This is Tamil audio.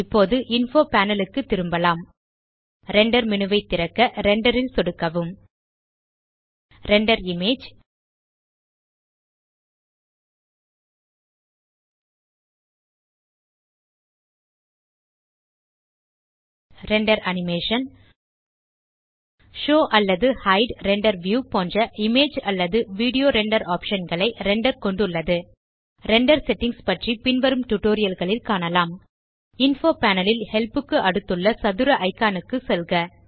இப்போது இன்ஃபோ பேனல் க்கு திரும்பலாம் ரெண்டர் மேனு ஐ திறக்க ரெண்டர் ல் சொடுக்கவும் render image render animation show அல்லது ஹைட் ரெண்டர் வியூ போன்ற இமேஜ் அல்லது வீடியோ ரெண்டர் ஆப்ஷன் களை ரெண்டர் கொண்டுள்ளது ரெண்டர் செட்டிங்ஸ் பற்றி பின்வரும் டியூட்டோரியல் களில் காணலாம் இன்ஃபோ பேனல் ல் ஹெல்ப் க்கு அடுத்துள்ள சதுர இக்கான் க்கு செல்க